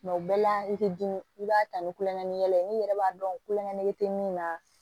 o bɛɛ la i te dimi i b'a ta ni kulonkɛ ye n'i yɛrɛ b'a dɔn kulonkɛ tɛ min na